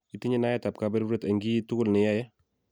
itinye naet ab kaberuret eng' kiy tugul ne iyae